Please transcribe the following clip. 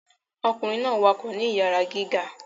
Ọkunrin náà wakọ ni iyara gíga